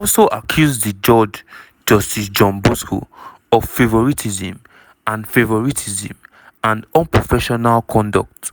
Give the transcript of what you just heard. she also accuse di judge justice john bosco of "favouritism and "favouritism and unprofessional conduct."